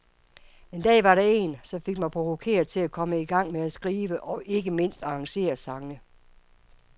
En dag var der en, som fik mig provokeret til at komme i gang med at skrive og ikke mindst arrangere sange.